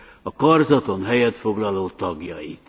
a karzaton helyet foglaló tagjait.